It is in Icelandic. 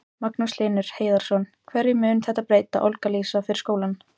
Magnús Hlynur Hreiðarsson: Hverju mun þetta breyta, Olga Lísa, fyrir skólann?